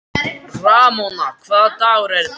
Ramóna, hvaða dagur er í dag?